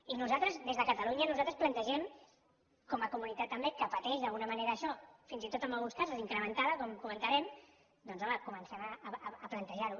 i nosaltres des de catalunya plantegem com a comunitat també que pateix d’alguna manera això fins i tot amb alguns casos incrementada com ho comentarem doncs home que comencem a plantejar ho